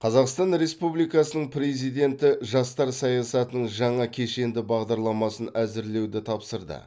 қазақстан республикасының президенті жастар саясатының жаңа кешенді бағдарламасын әзірлеуді тапсырды